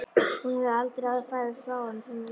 Hún hefur aldrei áður farið frá honum svona lengi.